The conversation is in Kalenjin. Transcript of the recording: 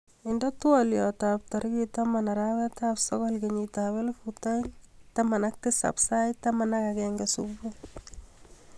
Indenee twoliotab tarikit taman arawetab sokol kenyitab elifut aeng taman ak tisab sait taman ak agenge subui